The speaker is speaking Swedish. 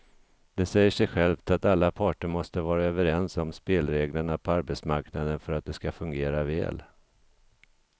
Det säger sig självt att alla parter måste vara överens om spelreglerna på arbetsmarknaden för att de ska fungera väl.